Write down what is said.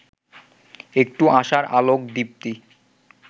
একটু আশার আলোক দীপ্তি